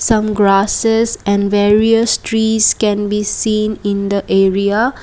some grasses and various trees can be seen in the area.